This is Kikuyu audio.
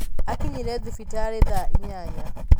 Akinyire thibitarĩthaa inyanya.